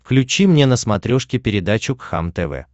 включи мне на смотрешке передачу кхлм тв